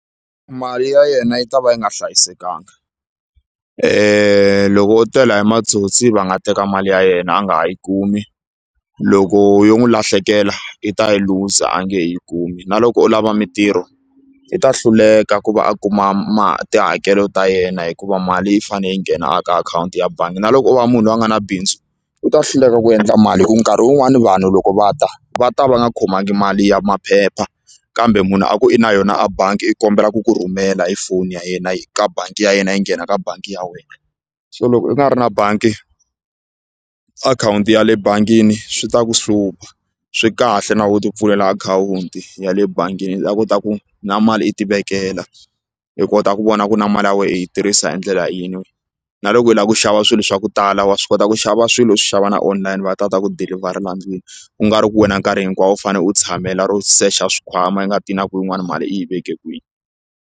Mali ya yena yi ta va yi nga hlayisekanga loko wo tela hi matsotsi va nga teka mali ya yena a nga ha yi kumi loko yo n'wi lahlekela i ta yi luza a nge he yi kumi na loko u lava mintirho i ta hluleka ku va a kuma tihakelo ta yena hikuva mali yi fane yi nghena a ka akhawunti ya bangi na loko o va munhu loyi a nga na bindzu u ta hluleka ku endla mali hi ku nkarhi wun'wani vanhu loko va ta va ta va nga khomangi mali ya maphepha kambe munhu a ku i na yona a bangi i kombela ku ku rhumela hi foni ya yena ka bangi ya yena yi nghena ka bangi ya wena so loko u nga ri na bangi akhawunti ya le bangini swi ta ku hlupha swi kahle na wehe u ti pfulela akhawunti ya le bangini u ta kota ku na mali i ti vekela i kota ku vona ku na mali ya wena hi yi tirhisa hi ndlela yihi na loko u lava ku xava swilo swa ku tala wa swi kota ku xava swilo u swi xava na online va ta kota ku dilivharela endlwini ku nga ri ku wena nkarhi hinkwawo u fanele u tshamela ro secha swikhwama u nga tivi na ku yin'wani mali u yi veke kwihi.